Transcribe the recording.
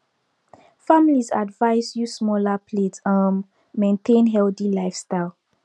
families advised use smaller plates um maintain healthy lifestyle